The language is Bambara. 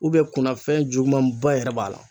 kunnafɛn jugumanba yɛrɛ b'a la.